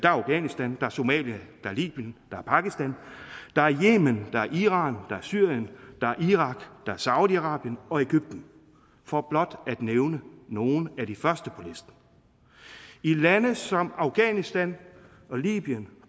afghanistan der er somalia der er libyen der er pakistan der er yemen der er iran der er syrien der er irak der er saudi arabien og egypten for blot at nævne nogle af de første på listen i lande som afghanistan libyen